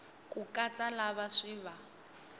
ku katsa lava swi va